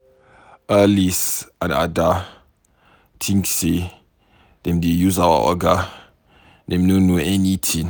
Alice and Ada think say dem dey use our Oga, dem no know anything.